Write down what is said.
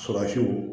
Surasiw